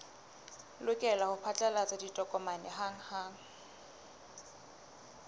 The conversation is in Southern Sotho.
lokela ho phatlalatsa ditokomane hanghang